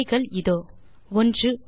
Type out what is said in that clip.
விடைகள் இதோ 1